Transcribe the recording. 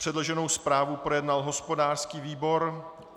Předloženou zprávu projednal hospodářský výbor.